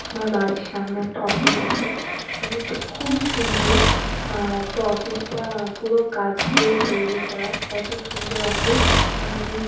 আমার বাড়ির সামনে একটা অফিস আছে অফিসটা খুবই সুন্দর তো অফিসটা পুরো কাচ দিয়ে তৈরি করা এত সুন্দর অফিস আমি--